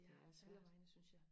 det er alle vegne synes jeg